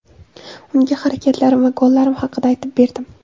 Unga harakatlarim va gollarim haqida aytib berdim.